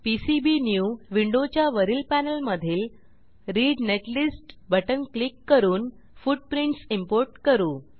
PCB new विंडोच्या वरील panel मधील रीड नेटलिस्ट बटण क्लिक करून फूटप्रिंटस इम्पोर्ट करू